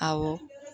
Awɔ